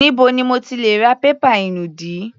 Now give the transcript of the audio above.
Níbo ni mo ti lè ra pépà inùdí?